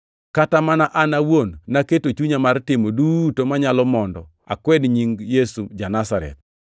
“Kata mana an awuon naketo chunya mar timo duto manyalo mondo akwed nying Yesu ja-Nazareth.